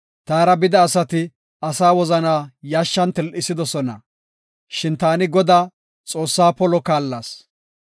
Taara bida asati asaa wozanaa yashshan til7isidosona, shin taani Godaa, Xoossaa polo kaallas.